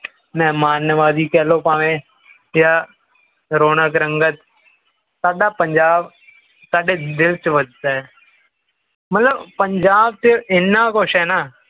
ਮਹਿਮਾਨ ਨਵਾਜੀ ਕਹਿ ਲਓ ਭਾਵੇਂ ਜਾਂ ਰੋਣਕ ਰੰਗਤ ਸਾਡਾ ਪੰਜਾਬ ਸਾਡੇ ਦਿਲ ਦੇ ਵਿੱਚ ਵਸਾ ਹੈ ਮਤਲਬ ਪੰਜਾਬ ਦੇ ਇਹਨਾਂ ਕੁਝ ਹੈ ਨਾ